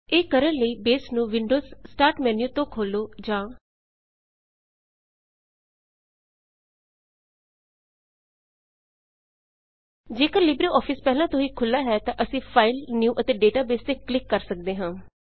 ਇਹ ਕਰਣ ਲਈ ਬੇਸ ਨੂੰ ਵਿੰਡੋਜ਼ ਸਟਾਰਟ ਮੈਨਿਊ ਤੋਂ ਖੋਲੋ ਜਾਂ ਜੇਕਰ ਲਿਬ੍ਰੇ ਆਫਿਸ ਪਹਿਲਾਂ ਤੋਂ ਹੀ ਖੁੱਲਾ ਹੈ ਤਾਂ ਅਸੀਂ ਫਾਈਲ ਨਿਊ ਅਤੇ ਡੇਟਾਬੇਸ ਤੇ ਕਲਿੱਕ ਕਰ ਸੱਕਦੇ ਹਾਂ